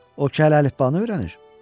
O ki hələ əlifbanı öyrənir.